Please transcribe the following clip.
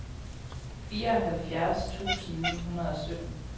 fireoghalvfjerds tusind ni hundrede og sytten